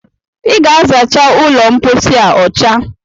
I ga-azacha ụlọmpochi a ọcha